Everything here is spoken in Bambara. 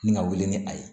Ni ka wuli ni a ye